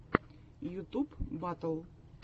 ютуб батл